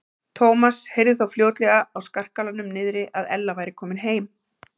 Thomas heyrði þó fljótlega á skarkalanum niðri að Ella væri komin heim.